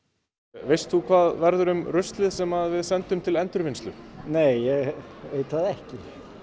veist þú hvað verður um ruslið sem við sendum til endurvinnslu nei ég veit það ekki